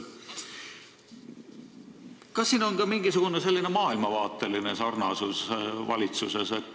Kas siin on tegu ka mingisuguse maailmavaatelise üksmeelega valitsuses?